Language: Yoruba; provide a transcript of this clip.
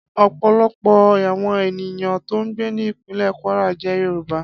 Ọ̀pọ̀lọpọ̀ àwọn ènìyàn tó ń gbé ní ìpínlè Kwara jẹ́ Yorùbá